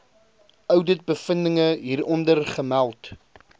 ouditbevindinge hieronder gemeld